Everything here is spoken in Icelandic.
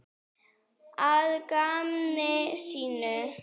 Að gamni sínu?